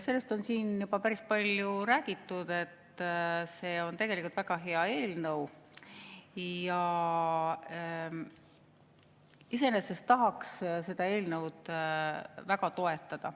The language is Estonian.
Sellest on siin juba päris palju räägitud, et see on tegelikult väga hea eelnõu ja iseenesest tahaks seda eelnõu väga toetada.